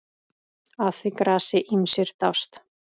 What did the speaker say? Að því grasi ýmsir dást.